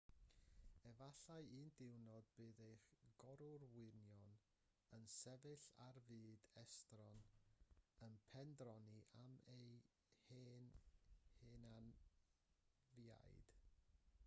efallai un diwrnod bydd eich gorwyrion yn sefyll ar fyd estron yn pendroni am eu hen hynafiaid